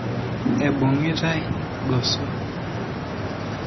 Ebungitae goso.